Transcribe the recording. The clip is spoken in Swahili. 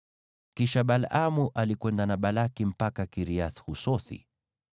Kisha Balaamu alikwenda na Balaki mpaka Kiriath-Husothi.